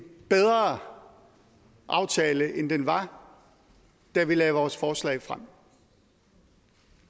bedre aftale end den var da vi lagde vores forslag frem